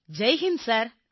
Jai Hind sir